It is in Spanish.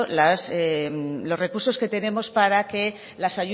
los recursos que tenemos para que las